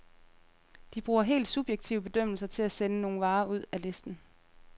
De bruger helt subjektive bedømmelser til at sende nogle varer ud af listen.